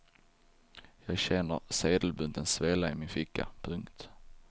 Jag känner sedelbunten svälla i min ficka. punkt